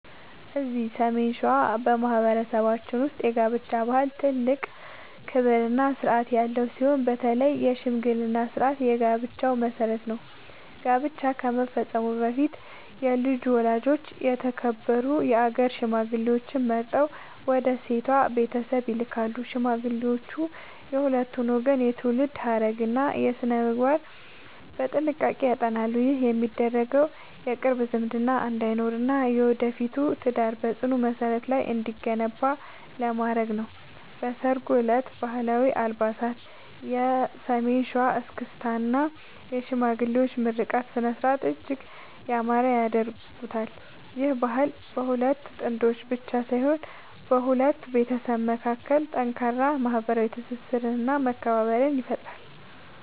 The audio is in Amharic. እዚህ ሰሜን ሸዋ በማኅበረሰባችን ውስጥ የጋብቻ ባህል ትልቅ ክብርና ሥርዓት ያለው ሲሆን፣ በተለይ የሽምግልና ሥርዓት የጋብቻው መሠረት ነው። ጋብቻ ከመፈጸሙ በፊት የልጁ ወላጆች የተከበሩ የአገር ሽማግሌዎችን መርጠው ወደ ሴቷ ቤተሰብ ይልካሉ። ሽማግሌዎቹ የሁለቱን ወገን የትውልድ ሐረግና ሥነ-ምግባር በጥንቃቄ ያጠናሉ። ይህ የሚደረገው የቅርብ ዝምድና እንዳይኖርና የወደፊቱ ትዳር በጽኑ መሠረት ላይ እንዲገነባ ለማድረግ ነው። በሠርጉ ዕለትም ባህላዊ አልባሳት፣ የሰሜን ሸዋ እስክስታ እና የሽማግሌዎች ምርቃት ሥነ-ሥርዓቱን እጅግ ያማረ ያደርጉታል። ይህ ባህል በሁለት ጥንዶች ብቻ ሳይሆን በሁለት ቤተሰቦች መካከል ጠንካራ ማኅበራዊ ትስስርና መከባበርን ይፈጥራል።